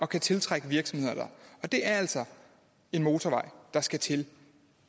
kan tiltrække virksomheder og det er altså en motorvej der skal til